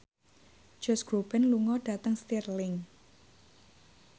Josh Groban lunga dhateng Stirling